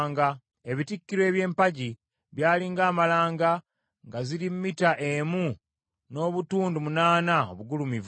Ebitikkiro eby’empagi byali ng’amalanga nga ziri mita emu n’obutundu munaana obugulumivu.